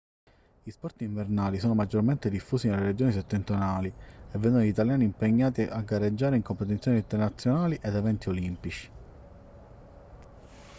gli sport invernali sono maggiormente diffusi nelle regioni settentrionali e vedono gli italiani impegnati a gareggiare in competizioni internazionali ed eventi olimpici